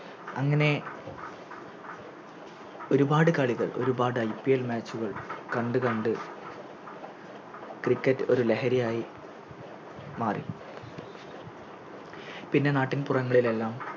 അങ്ങനെ ഒരുപാട് കളികൾ ഒരുപാട് IPLMatch ഉകൾ കണ്ട് കണ്ട് Cricket ഒര് ലഹരിയായി മാറി പിന്നെ നാട്ടിൻപുറങ്ങളിലെല്ലാം